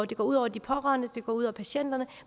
det går ud over de pårørende det går ud over patienterne